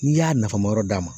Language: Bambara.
N'i y'a nafa ma yɔrɔ d'a ma.